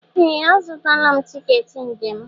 Ee! Azụtala m tiketi njem m.